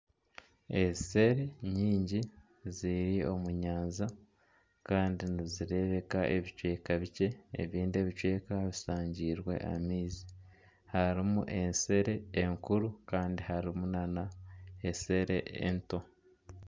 Eshere nyingi ziri omu nyanja kandi nizirebeka ebicweka bikye, ebindi ebicweka bisangiirwe amaizi. Harimu eshere enkuru kandi harimu nana eshere ento.